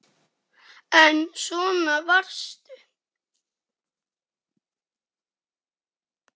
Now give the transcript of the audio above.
En svona varstu.